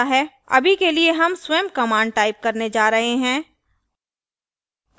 अभी के लिए हम स्वयं command type करने जा रहे हैं;